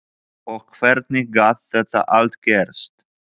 Og hvernig gat þetta allt gerst?